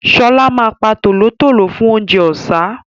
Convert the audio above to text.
Ṣọlá ma pa tòlótòló fún oúnjẹ ọ̀sá